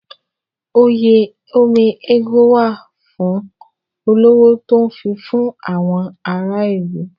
Oyè Ome ego wà fún olówó tó ń fifún àwọn ará ìlú.